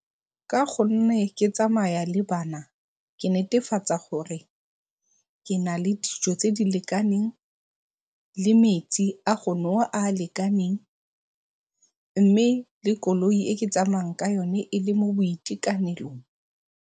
Ka go nne ke tsamaya le bana ke netefatsa gore ke na le dijo tse di lekaneng le metsi a go nowa a a lekaneng mme, le koloi e ke tsamayang ka yone e le mo boitekanelong.